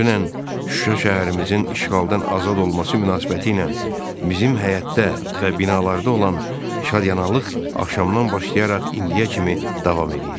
Dünən Şuşa şəhərimizin işğaldan azad olması münasibətilə bizim həyətdə və binalarda olan şadyanalıq axşamdan başlayaraq indiyə kimi davam eləyirdi.